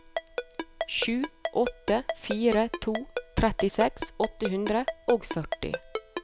sju åtte fire to trettiseks åtte hundre og førti